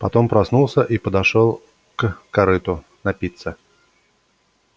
потом проснулся и подошёл к корыту напиться